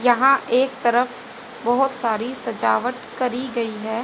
यहां एक तरफ बहुत सारी सजावट करी गई है।